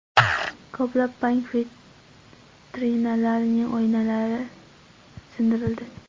Ko‘plab bank vitrinalarining oynalari sindirildi.